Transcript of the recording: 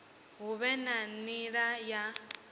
hu vhe na nila ya